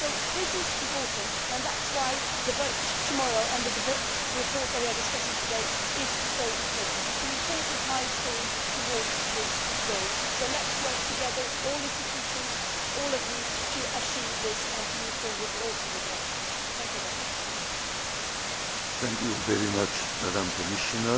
This is important, and that is why the vote tomorrow and the report that we are discussing today is so important. It is an important milestone towards this goal, so let us work together all the institutions, all of you to achieve this and to move forward not only on this but also